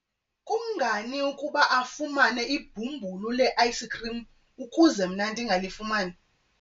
kungani ukuba afumane ibhumbulu le-ayisikhrim ukuze mna ndingalifumani?